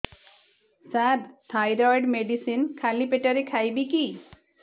ସାର thyroid medicine ଖାଲି ପେଟରେ ଖାଇବି କି